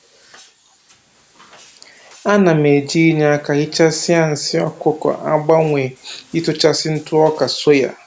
A na m eji inye aka hichasịa nsị ọkụkọ agbanwe ịtụchasị ntụ ọka soya